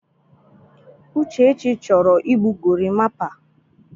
Uchechi chọrọ igbu gorimapa.